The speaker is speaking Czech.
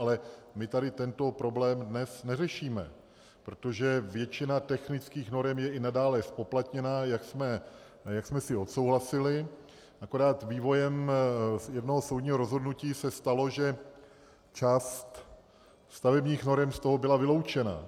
Ale my tady tento problém dnes neřešíme, protože většina technických norem je i nadále zpoplatněna, jak jsme si odsouhlasili, akorát vývojem jednoho soudního rozhodnutí se stalo, že část stavebních norem z toho byla vyloučena.